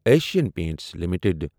Asian Paints limited